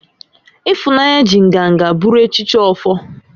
Ifunanya ji nganga buru echichi Ofor